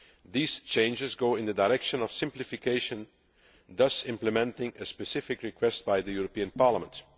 These changes go in the direction of simplification, thus implementing a specific request by the European Parliament.